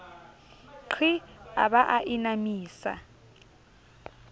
qhii a ba a inamisa